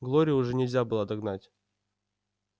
глорию уже нельзя было догнать